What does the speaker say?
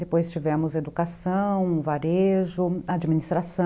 Depois tivemos educação, varejo, administração.